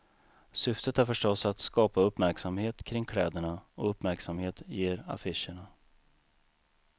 Syftet är förstås att skapa uppmärksamhet kring kläderna och uppmärksamhet ger affischerna.